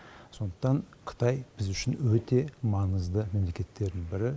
сондықтан қытай біз үшін өте маңызды мемлекеттердің бірі